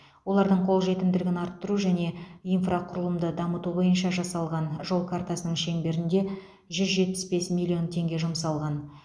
олардың қолжетімділігін арттыру және инфрақұрылымды дамыту бойынша жасалған жол картасының шеңберінде жүз жетпіс бес миллион теңге жұмсалған